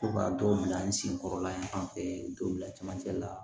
Ko ka dɔw bila n sen kɔrɔla in an fɛ dɔw bila camancɛ la